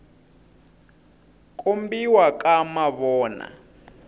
kombiwa ka mavona